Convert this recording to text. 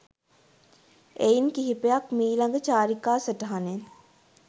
එයින් කිහිපයක් මීලග චාරිකා සටහ‍නෙන්